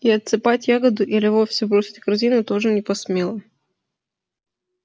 и отсыпать ягоду или вовсе бросить корзину тоже не посмела